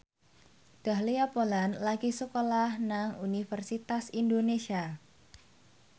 Dahlia Poland lagi sekolah nang Universitas Indonesia